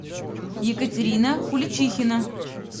екатерина куличихина